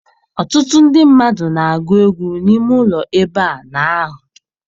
Ọtụtụ ndị mmadụ n'agụ egwu n'ime ụlọ ebe a n'ahụ.